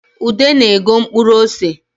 Ude na-ego mkpuru ose